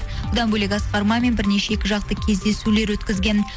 бұдан бөлек асқар мамин бірнеше екі жақты кездесулер өткізген